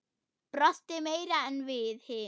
Brosti meira en við hin.